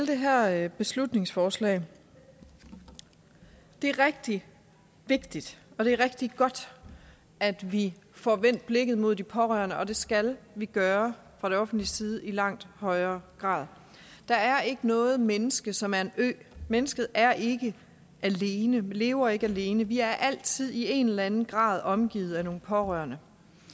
her beslutningsforslag det er rigtig vigtigt og det er rigtig godt at vi får vendt blikket mod de pårørende og det skal vi gøre fra det offentliges side i langt højere grad der er ikke noget menneske som er en ø mennesket er ikke alene vi lever ikke alene vi er altid i en eller anden grad omgivet af nogle pårørende